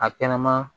A kɛnɛma